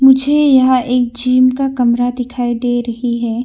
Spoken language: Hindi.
मुझे यहां एक जिम का कमरा दिखाई दे रही है।